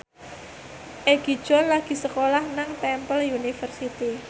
Egi John lagi sekolah nang Temple University